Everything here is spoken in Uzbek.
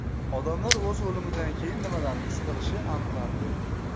Odamlar o‘z o‘limidan keyin nimalarni his qilishi aniqlandi.